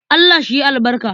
Allah shi yi albarka.